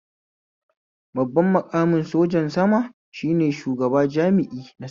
Babban maƙamin sojan sama shine shugaba jami'i na sama